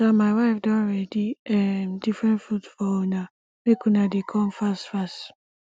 um my wife don ready um different food for una make una dey come fast fast